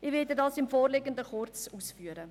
Ich werde das kurz ausführen.